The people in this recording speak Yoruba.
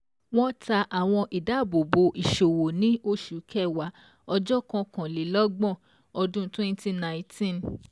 Wọ́n ta àwọn ìdábòbò ìṣòwò ní oṣù Kẹwàá ọjọ́ ọ̀kanlélọ́gbọ̀n ọdún twenty nineteen.